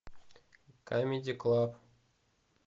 камеди клаб